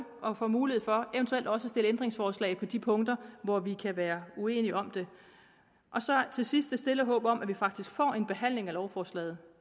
og får mulighed for eventuelt også at stille ændringsforslag på de punkter hvor vi kan være uenige om det til sidst et stille håb om at vi faktisk får en behandling af lovforslaget